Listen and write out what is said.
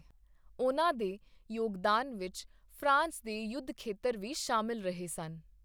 ਉਨ੍ਹਾਂ ਦੇ ਯੋਗਦਾਨ ਵਿੱਚ ਫਰਾਂਸ ਦੇ ਯੁੱਧਖੇਤਰ ਵੀ ਸ਼ਾਮਲ ਰਹੇ ਸਨ।